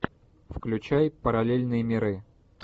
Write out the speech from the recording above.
включай параллельные миры